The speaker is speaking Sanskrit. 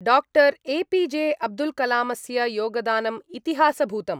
Doctor A P J Abdul कलामस्य योगदानम् इतिहासभूतम्।